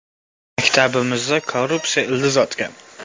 Maktabimizda korrupsiya ildiz otgan.